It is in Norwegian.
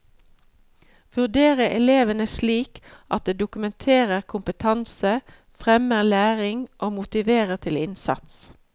Vurdere elevene slik at det dokumenterer kompetanse, fremmer læring og motiverer til innsats.